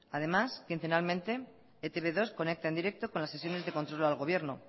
además quincenalmente e te be dos conecta en directo con las sesiones de control al gobierno